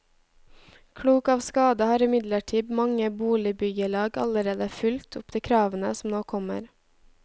Klok av skade har imidlertid mange boligbyggelag allerede fulgt opp de kravene som nå kommer.